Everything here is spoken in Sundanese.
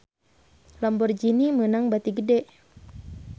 Lamborghini meunang bati gede